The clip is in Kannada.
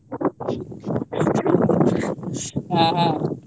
ಹ ಹ .